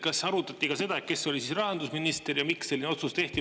Kas arutati ka seda, kes oli rahandusminister ja miks selline otsus tehti?